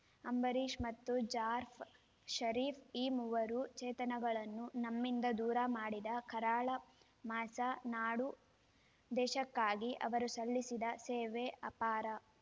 ಅಂಬರೀಷ್‌ ಮತ್ತು ಜಾರ್‌ಫ ಷರೀಫ್‌ ಈ ಮೂವರು ಚೇತನಗಳನ್ನು ನಮ್ಮಿಂದ ದೂರ ಮಾಡಿದ ಕರಾಳ ಮಾಸ ನಾಡು ದೇಶಕ್ಕಾಗಿ ಅವರು ಸಲ್ಲಿಸಿದ ಸೇವೆ ಅಪಾರ